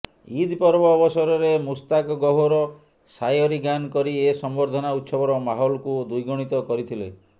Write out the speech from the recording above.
ଇଦ୍ ପର୍ବ ଅବସରରେ ମୁସ୍ତାକ୍ ଗହ୍ୱର ସାୟରୀ ଗାନ କରି ଏ ସମ୍ବର୍ଦ୍ଧନା ଉତ୍ସବର ମାହୋଲକୁ ଦ୍ୱିଗୁଣିତ କରିଥିଲେ